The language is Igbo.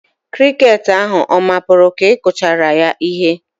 Kirikeeti ahu ọ mapụru ka ị kụchara ya ihe?